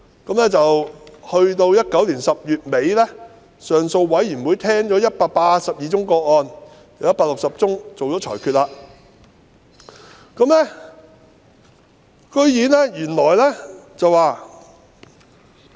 截至2019年10月底，行政上訴委員會聆訊了182宗個案，並就160宗個案作出裁決。